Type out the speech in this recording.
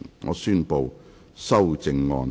我宣布修正案獲得通過。